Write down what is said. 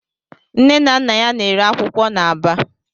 Nne na Nna ya na-ere akwụkwọ n'Aba.